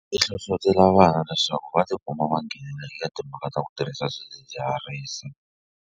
I hlohlotela vana leswaku va ti kuma va nghena eka timhaka ta ku tirhisa swidzidziharisi.